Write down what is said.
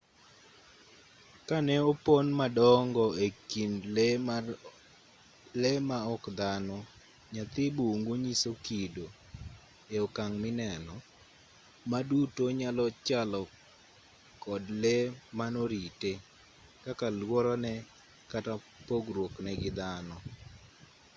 ka ne opon modongo ekind lee ma ok dhano nyathi bungu nyiso kido e okang' mineno ma duto nyalo chalo kod le mano rite kaka luorone kata pogruokne gi dhano